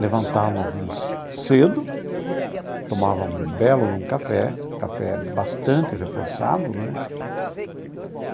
Levantávamos cedo, tomávamos um belo café, café bastante reforçado né.